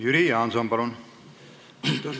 Jüri Jaanson, palun!